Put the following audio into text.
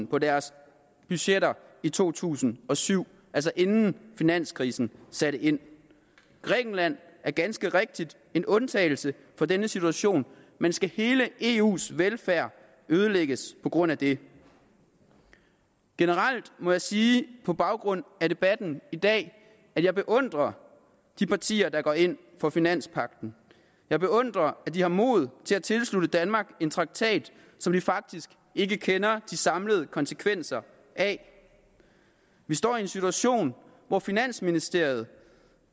på deres budgetter i to tusind og syv altså inden finanskrisen satte ind grækenland er ganske rigtigt en undtagelse fra denne situation men skal hele eus velfærd ødelægges på grund af det generelt må jeg sige på baggrund af debatten i dag at jeg beundrer de partier der går ind for finanspagten jeg beundrer at de har mod til at tilslutte danmark en traktat som vi faktisk ikke kender de samlede konsekvenser af vi står i en situation hvor finansministeriet